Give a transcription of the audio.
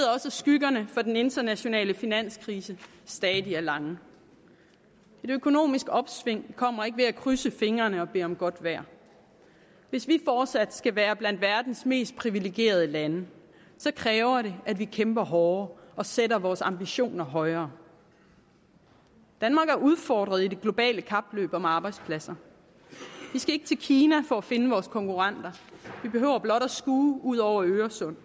skyggerne fra den internationale finanskrise stadig er lange et økonomisk opsving kommer ikke ved at krydse fingrene og bede om godt vejr hvis vi fortsat skal være blandt verdens mest privilegerede lande så kræver det at vi kæmper hårdere og sætter vores ambitioner højere danmark er udfordret i det globale kapløb om arbejdspladser vi skal ikke til kina for at finde vores konkurrenter vi behøver blot at skue ud over øresund